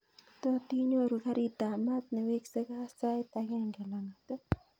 Tot inyoru garit ab maat newekse kaa sait agenge langat